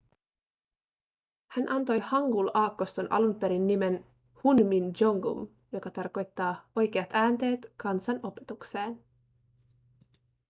hän antoi hangul-aakkoston alun perin nimen hunmin jeongeum joka tarkoittaa oikeat äänteet kansan opetukseen